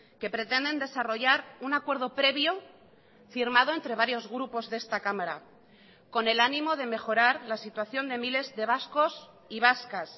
que pretenden desarrollar un acuerdo previo firmado entre varios grupos de esta cámara con el ánimo de mejorar la situación de miles de vascos y vascas